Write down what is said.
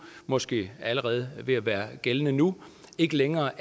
måske allerede ved at være gældende nu ikke længere